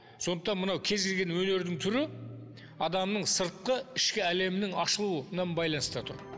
сондықтан мынау кез келген өнердің түрі адамның сыртқы ішкі әлемінің ашылуынан байланыста тұр